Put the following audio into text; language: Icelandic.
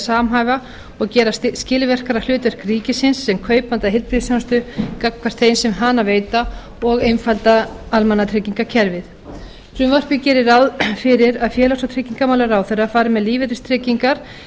samhæfa og gera skilvirkara hlutverk ríkisins sem kaupanda heilbrigðisþjónustu gagnvart þeim sem hana veita og einfalda almannatryggingakerfið frumvarpið gerir ráð fyrir að félags og tryggingamálaráðherra fari með lífeyristryggingar en